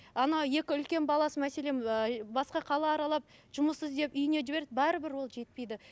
анау екі үлкен баласы мәселен ыыы басқа қала аралап жұмыс іздеп үйіне жібереді бәрібір ол жетпейді